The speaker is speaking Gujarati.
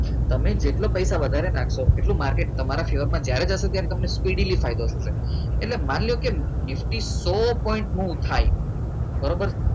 તમે જેટલો પૈસા વધારે નાખશો એટલું માર્કેટ તમારા ફેવરમાં જ્યારે થશે ત્યારે તમે speedily ફાયદો થશે એટલે માની લો કે નિફ્ટી બહુ થાય બરોબર